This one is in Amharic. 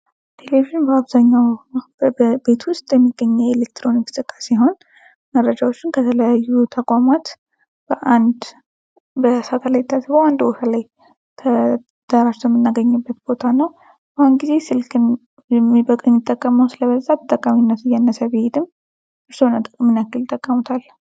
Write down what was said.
ቴሌቪዥን በአብዛኛዉ በቤት ዉስጥ የሚገኙ የኤሌክትሮኒክስ እቃ ሲሆን መረጃዎችን ከተለያዩ ተቋማት በአንድ በሳተላይንት ተግባር ተደራጅቶ የምናገኝበት ቦታ ነዉ። በአሁኑ ጊዜ ስልክን የሚጠቀመዉ ስለበዛተጠቃሚነቱ እያነሰ ቢሄድም እርስዎ ምን ያክል ይጠቀሙታል?